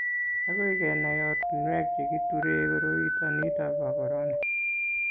agoi kenai ortinwek che kiturei koroito nito bo korona